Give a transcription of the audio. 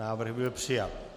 Návrh byl přijat.